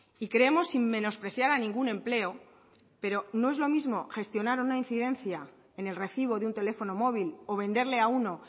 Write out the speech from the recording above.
y creemos sin menospreciar a ningún empleo pero no es lo mismo gestionar una incidencia en el recibo de un teléfono móvil o venderle a uno